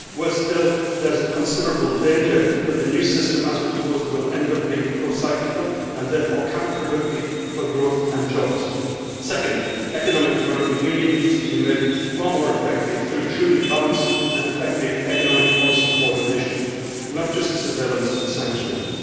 Worse still, there is a considerable danger that the new system as proposed will end up being procyclical and therefore counterproductive for growth and jobs. Second, economic and monetary union needs to be made far more effective through truly balanced and effective economic policy coordination, not just surveillance and sanctioning.